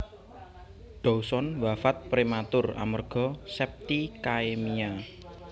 Dawson wafat prematur amerga septicaemia